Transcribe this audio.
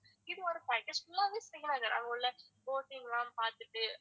இது ஒரு package full ஆவே அங்க உள்ள boating லாம் பாத்துட்டு